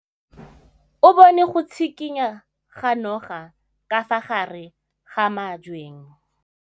O bone go tshikinya ga noga ka fa gare ga majang.